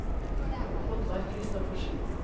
Oddvar Kristoffersen